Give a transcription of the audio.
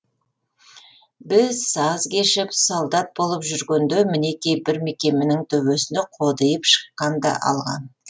біз саз кешіп солдат болып жүргенде мінекей бір мекеменің төбесіне қодиып шыққан да алған